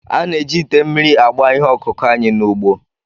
A na-eji ite mmiri agba ihe ọkụkụ anyị n'ugbo